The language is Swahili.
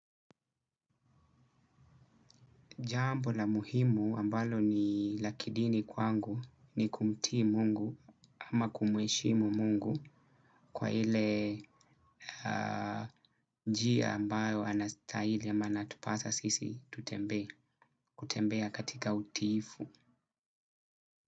Jambo la muhimu ambalo ni la kidini kwangu ni kumtii mungu ama kumheshimu mungu kwa ile njia ambayo anastahili ama anatupasa sisi tutembee, kutembea katika utiifu.